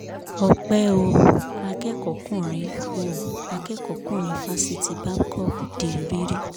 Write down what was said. ọ̀pẹ ò akẹ́kọ̀ọ́kùnrin ò akẹ́kọ̀ọ́kùnrin fásitì babcock di rìrì